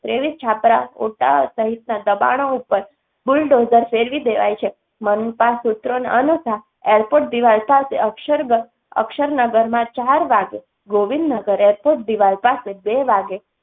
ત્રેવીસ છાપરા ઓઢા સહિતના દબાણો ઉપર બુલડોઝર ફેરવી દેવાય છે. મનપાસુત્ર અનુસાર airport દીવાલ પાસે અક્ષર ગ અક્ષરનગરમાં ચાર વાગે, ગોવિંદનગર એરપોર્ટ દીવાલ પાસે બે વાગે